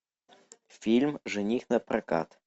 фильм жених напрокат